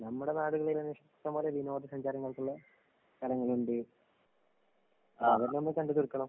നമ്മടെ നാടുകളീത്തന്നെ ഇഷ്ടം പോലെ വിനോദസഞ്ചാരങ്ങൾക്കുള്ള സ്ഥലങ്ങള്ണ്ട്. അപ്പ അതെല്ലാം നമ്മ കണ്ട് തീർക്കണം.